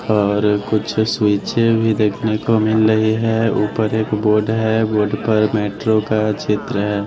और कुछ स्विचें भी देखने को मिल रही है ऊपर एक बोर्ड है बोर्ड पर मेट्रो का चित्र है।